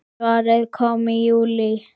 Svarið kom í júlí.